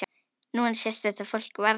Núna sést þetta fólk varla.